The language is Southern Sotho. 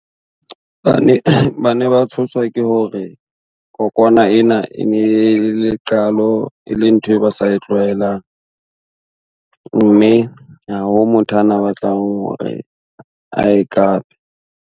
Bane ba tshoswa ke hore kokwana ena e ne le qalo e le ntho e ba sa e tlwaelang, mme ha ho motho ana a batla hore ae kape.